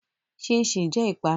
Chin chin jẹ ìpanu.